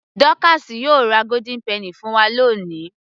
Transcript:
Dọ́káásì yóò ra golden penny fún wa ní òní